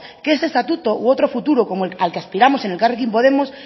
que este estatuto u otro futuro como al que aspiramos en elkarrekin podemos